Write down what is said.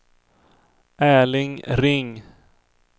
Erling Ring